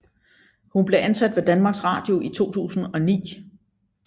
Hun blev ansat ved Danmarks Radio i 2009